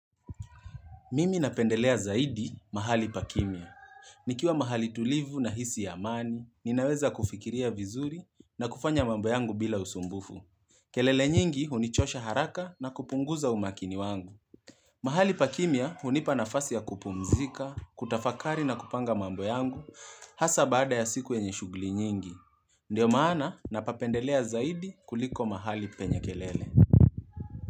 Mimi napendelea zaidi mahali pakimia. Nikiwa mahali tulivu nahisi amani, ninaweza kufikiria vizuri na kufanya mambo yangu bila usumbufu. Kelele nyingi hunichosha haraka na kupunguza umakini wangu. Mahali pakimia hunipa nafasi ya kupumzika, kutafakari na kupanga mambo yangu, hasa baada ya siku yenye shughuli nyingi. Ndiyo maana, napapendelea zaidi kuliko mahali penye kelele.